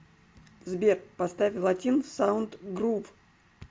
сбер поставь латин саунд грув